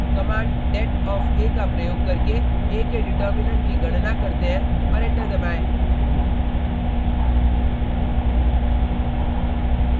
command det of a का प्रयोग करके a के डिटर्मिनेन्ट determinant की गणना करते हैं और एंटर दबाएँ